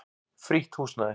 Frítt húsnæði.